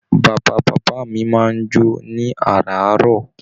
Bàbá bàbá mí máa n jo ní araarọ.